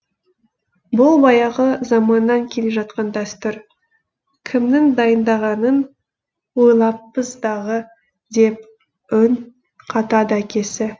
бұл баяғы заманнан келе жатқан дәстүр кімнің дайындағанын ойламаппыз дағы деп үн қатады әкесі